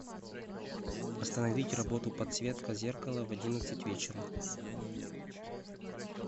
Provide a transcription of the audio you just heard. остановить работу подсветка зеркала в одиннадцать вечера